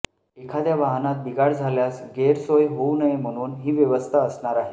एखाद्या वाहनात बिघाड झाल्यास गैरसोय होऊ नये म्हणून ही व्यवस्था असणार आहे